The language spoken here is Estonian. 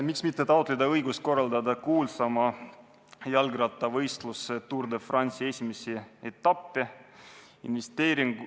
Miks mitte taotleda õigust korraldada kuulsaima jalgrattavõistluse Tour de France esimesi etappe?